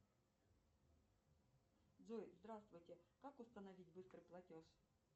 джой здравствуйте как установить быстрый платеж